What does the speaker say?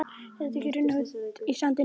Getur ekki runnið út í sandinn.